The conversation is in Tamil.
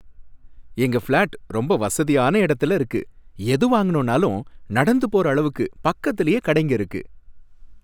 எங்க ஃபிளாட் ரொம்ப வசதியான இடத்துல இருக்கு, எது வாங்கணும்னாலும் நடந்து போற அளவுக்கு பக்கத்துலேயே கடைங்க இருக்கு.